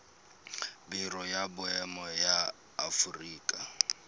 biro ya boemo ya aforika